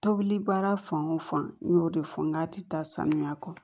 Tobili baara fan o fan n y'o de fɔ nka a tɛ taa saniya kɔ